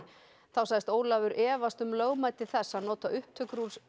þá sagðist Ólafur efast um lögmæti þess að nota upptöku úr